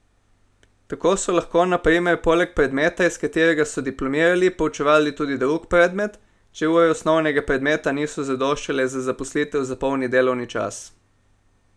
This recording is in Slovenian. Tako so lahko na primer poleg predmeta, iz katerega so diplomirali, poučevali tudi drug predmet, če ure osnovnega predmeta niso zadoščale za zaposlitev za polni delovni čas.